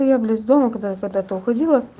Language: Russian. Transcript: ну я близ дома когда когда-то уходила